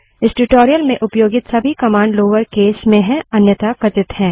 इस ट्यूटोरियल में उपयोगित सभी कमांड लोअर केस अन्यथा कथित हैं